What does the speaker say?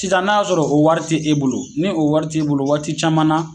Sisan n'a y'a sɔrɔ o wari tɛ e bolo ni o wari t'e bolo waati caman na